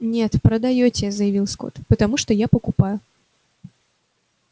нет продаёте заявил скотт потому что я покупаю